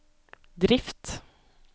drift